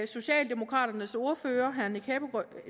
socialdemokraternes ordfører herre